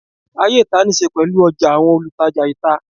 Ayé ìta níí ṣe pẹ̀lú ọjà, àwọn olùtajà ìta